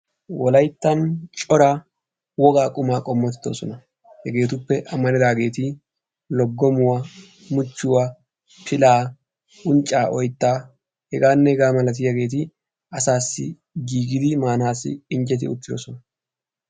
wolayittan cora wogaa qumaa qommoti doosona hegeetuppe amaridaageeti loggomuwaa muchchuwaa pilaa unccaa oyttaa hegaanne hegaa milatiyaageeti assaassi giigidi maanassi injjeti uttidosona.